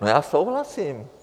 No já souhlasím.